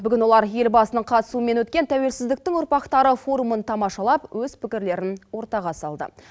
бүгін олар елбасының қатысуымен өткен тәуелсіздіктін ұрпақтары форумын тамашалап өз пікірлерін ортаға салды